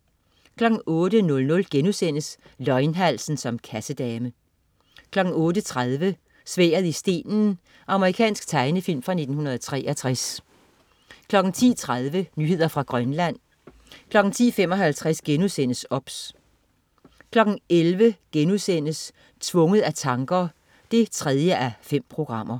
08.00 Løgnhalsen som kassedame* 08.30 Sværdet i stenen. Amerikansk tegnefilm fra 1963 10.30 Nyheder fra Grønland 10.55 OBS* 11.00 Tvunget af tanker 3:5*